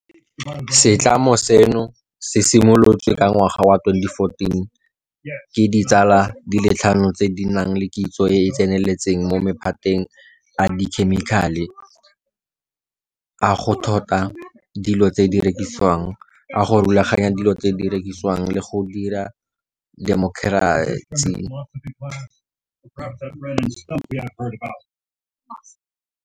Setlamo seno se simolotswe ka ngwaga wa 2014 ke ditsala di le tlhano tse di nang le kitso e e tseneletseng mo maphateng a dikhemikhale, a go thota dilo tse di rekisiwang, a go rulaganya dilo tse di rekisiwang le a go dira dikgomaretsi.